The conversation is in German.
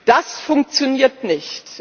Das funktioniert nicht.